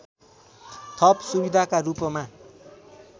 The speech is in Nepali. थप सुविधाका रूपमा